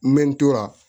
N bɛ n tora